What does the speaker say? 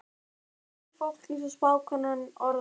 Þar var mikið fólk, eins og spákonan orðar það.